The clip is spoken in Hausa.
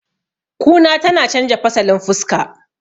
kuna tana canja fasalin fuska